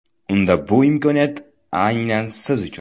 Unda bu imkoniyat aynan siz uchun.